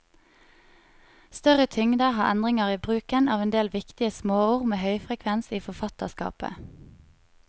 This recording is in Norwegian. Større tyngde har endringer i bruken av en del viktige småord med høyfrekvens i forfatterskapet.